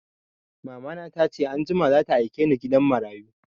Mamana ta ce anjima za ta aike ni gidan marayu